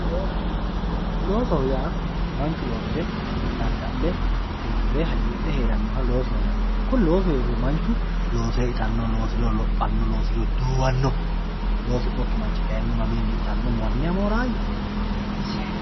Looso, loosoho yaa manchu loosire, dada'lle tirifire hagiidhe heeranoha loosoho yinanni kuni loosu heeriro manichu loosire ittano loosiriro loohanno, loosiriro duuwanno loosinokki manchi kayinni mamichini ittano maniha moorawoyya